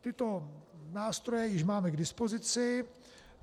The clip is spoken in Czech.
Tyto nástroje již máme k dispozici.